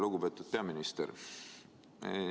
Lugupeetud peaminister!